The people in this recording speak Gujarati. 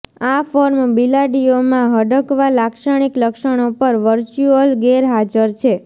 આ ફોર્મ બિલાડીઓ માં હડકવા લાક્ષણિક લક્ષણો પણ વર્ચ્યુઅલ ગેરહાજર છે